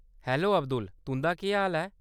Hello, Abdul, तुं'दा केह् हाल ऐ ?